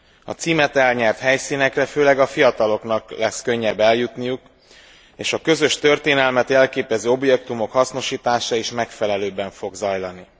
A címet elnyert helyszínekre főleg a fiataloknak lesz könnyebb eljutniuk, és a közös történelmet jelképező objektumok hasznosítása is megfelelőbben fog zajlani.